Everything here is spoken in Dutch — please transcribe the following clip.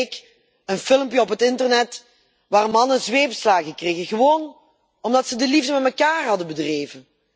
Vorige week een filmpje op het internet waarin mannen zweepslagen krijgen, gewoon omdat ze de liefde met elkaar hadden bedreven.